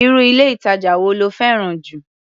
Irú ilé-ìtàjà wo lo fẹ́ràn jù?